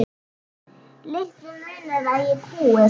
Litlu munar að ég kúgist.